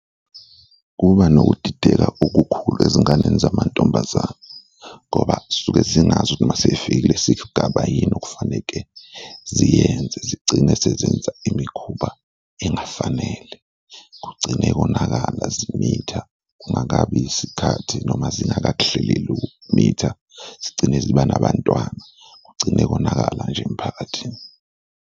Kuba nokudideka okukhulu ezinganeni zamantombazane ngoba zisuke zingazi ukuthi noma ukuthi sifikile isigaba yini okufaneke ziyenze, zigcine sezenza imikhuba engafanele kugcine konakala zimitha kungakabi isikhathi noma zingakakuhleleli ukumitha, zigcine ziba nabantwana, kugcine konakala nje emphakathini.